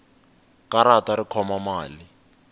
karata ri khoma mali